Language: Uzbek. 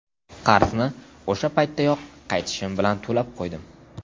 Qarzni o‘sha paytdayoq qaytishim bilan to‘lab qo‘ydim.